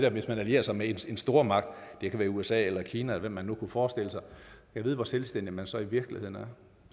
og hvis man allierer sig med en stormagt det kan være usa eller kina eller hvad man nu kunne forestille sig gad vide hvor selvstændig man så i virkeligheden er